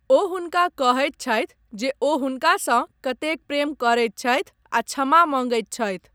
ओ हुनका कहैत छथि जे ओ हुनकासँ कतेक प्रेम करैत छथि आ क्षमा मँगैत छथि।